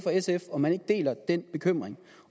sf om man ikke deler den bekymring